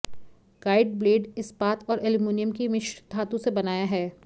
guide blade इस्पात और aluminium की मिश्र धातु से बनाया है